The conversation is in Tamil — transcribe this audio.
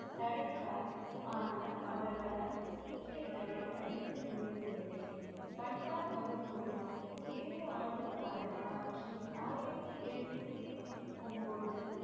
தடைத்தால் ஆனால் அவர்களால் சீக்கியர்களை அழிக்க முடியவில்லை பண்டா பகதூரின் ஏழு ஆண்டு கால ஆட்சி ஆயிரத்தி எழுநூத்தி ஒன்பது